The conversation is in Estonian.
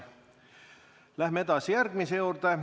Läheme edasi järgmise küsimuse juurde.